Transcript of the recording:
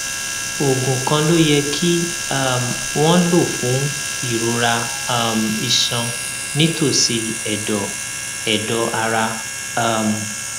oògùn kan ló yẹ kí um wón lò fún ìrora um iṣan nítòsí èdọ èdọ ara um